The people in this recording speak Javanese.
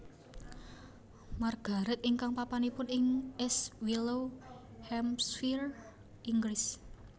Margaret ingkang papanipun ing East Wellow Hampshire Inggris